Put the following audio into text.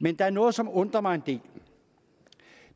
men der er noget som undrer mig en del